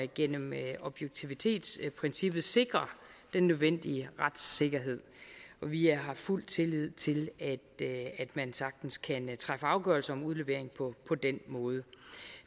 gennem objektivitetsprincippet sikrer den nødvendige retssikkerhed vi har fuld tillid til at at man sagtens kan træffe afgørelse om udlevering på den måde